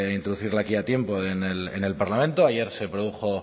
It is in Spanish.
aquí a tiempo en el parlamento ayer se produjo